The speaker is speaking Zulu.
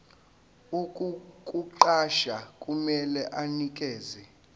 ukukuqasha kumele anikeze